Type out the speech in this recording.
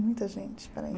Muita gente, peraí.